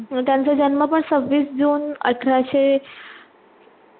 मग त्यांचा जन्म पण सव्वीस जून अठराशे